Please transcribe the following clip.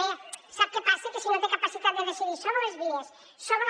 bé sap què passa que si no té capacitat de decidir sobre les vies sobre